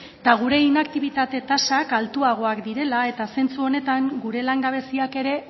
eta gure inaktibitate tasak altuagoak direla zentzu honetan gure langabeziak ere